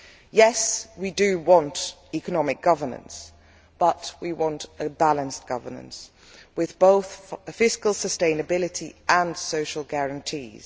Yes, we do want economic governance, but we want balanced governance with both fiscal sustainability and social guarantees.